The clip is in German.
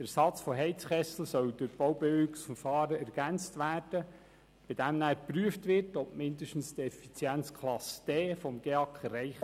Der Ersatz von Heizkesseln soll durch Baubewilligungsverfahren ergänzt werden, bei welchem geprüft wird, ob der GEAK mindestens die Effizienzklasse D erreicht.